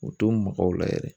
U tun be mɔgɔw la yɛrɛ.